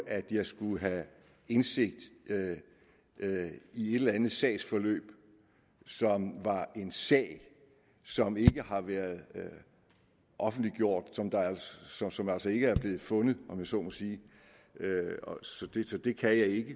at jeg skulle have indsigt i et eller andet sagsforløb i en sag som ikke har været offentliggjort og som altså ikke er blevet fundet om jeg så må sige så det så det kan jeg ikke